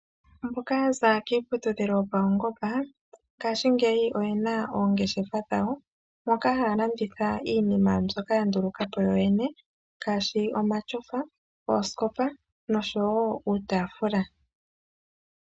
Mboka ya za kiiputudhilo yopaungomba ngashingeyi oye na oongeshefa dhawo moka haya landitha iinima mbyoka ya nduluka po yoyene, ngaashi omatyofa, oosikopa noshowo uutaafula.